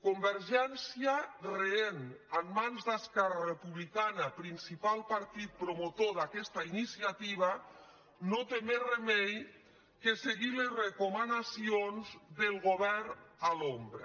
convergència rehénrepublicana principal partit promotor d’aquesta iniciativa no té més remei que seguir les recomanacions del govern a l’ombra